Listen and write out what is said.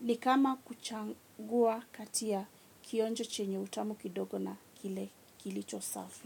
Ni kama kuchagua kati ya kionjo chenye utamu kidogo na kile kilicho safi.